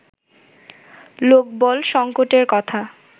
লোকবল সঙ্কটের কথা